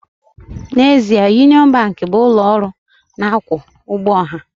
N'ezie, Union Bank bụ ụlọ ọrụ na-akwụ ụgwọ ọha